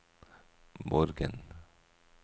Borgen